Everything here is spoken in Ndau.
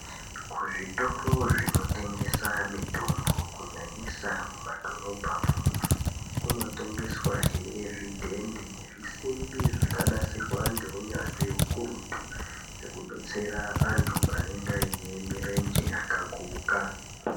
Kuzvitoro zvinotengesa mitombo kunyanyisa mumadhorobha kunotengeswa zvidhende nezvisimbi zvakanasirwa nehunyanzvi ukurutu wekudetsera antu anenge ane mirenje yakaguka.